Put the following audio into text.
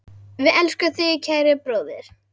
Við elskum þig, kæri bróðir.